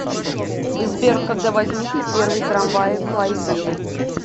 сбер когда возникли первые трамваи в клайпеде